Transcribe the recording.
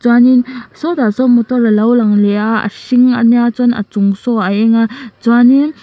chuanin saw tah sawn motor a lo lang leh a a hring a nia chuan a chung saw a eng a chuanin--